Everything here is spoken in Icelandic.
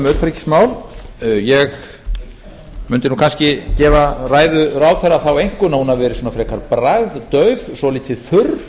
utanríkismál ég mundi nú kannski gefa ræðu ráðherra þá einkunn að hún hafi verið svona frekar bragðdauf svolítið þurr